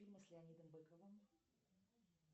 фильмы с леонидом быковым